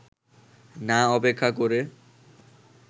না অপেক্ষা করে